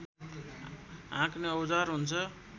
हाँक्ने औजार हुन्छ